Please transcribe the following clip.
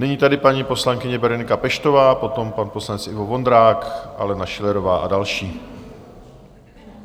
Nyní tedy paní poslankyně Berenika Peštová, potom pan poslanec Ivo Vondrák, Alena Schillerová a další.